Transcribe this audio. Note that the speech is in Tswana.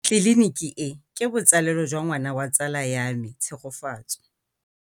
Tleliniki e, ke botsalêlô jwa ngwana wa tsala ya me Tshegofatso.